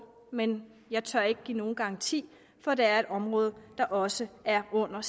men jeg tør ikke give nogen garanti for det er et område der også er under